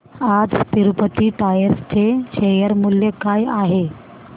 आज तिरूपती टायर्स चे शेअर मूल्य काय आहे